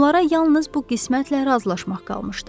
Onlara yalnız bu qismətlə razılaşmaq qalmışdı.